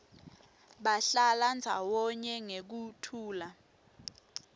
bahlala ndzawonye ngekuthula